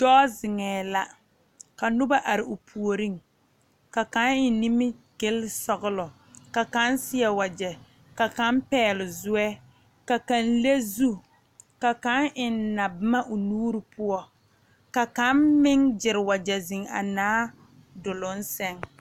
Dɔɔ zeŋɛ la, ka noba are o puoriŋ, ka kaŋa eŋe nimi gile sɔglɔ, ka kaŋa. seɛ wagyɛ , ka kaŋa pɛgele zoɛ, ka kaŋa. leŋ zu, ka kaŋa eŋe naboma o nuuri poɔ, ka kaŋa meŋ gyɛre wagyɛ a zeŋ a Naa duur seŋ.